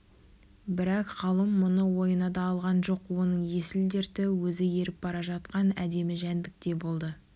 бірақ ғалым мұны ойына да алған жоқ оның есіл-дерті өзі еріп бара жатқан әдемі жәндікте болды